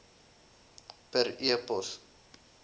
per e pos